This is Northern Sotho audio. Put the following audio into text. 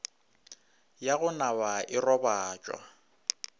ya go naba e robatša